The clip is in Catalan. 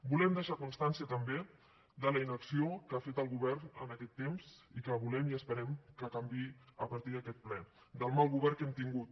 volem deixar constància també de la inacció que ha fet el govern en aquest temps i que volem i esperem que canviï a partir d’aquest ple del mal govern que hem tingut